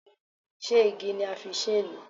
Ṣé igi ni a fi ṣe é ni?